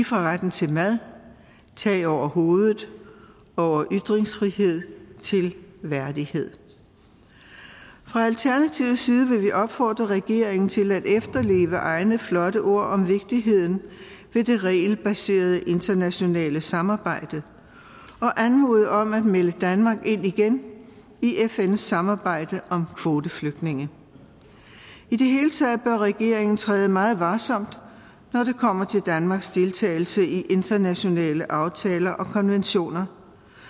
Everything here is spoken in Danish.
fra retten til mad tag over hovedet over ytringsfrihed til værdighed fra alternativets side vil vi opfordre regeringen til at efterleve egne flotte ord om vigtigheden af det regelbaserede internationale samarbejde og anmode om at melde danmark ind igen i fns samarbejde om kvoteflygtninge i det hele taget bør regeringen træde meget varsomt når det kommer til danmarks deltagelse i internationale aftaler og konventioner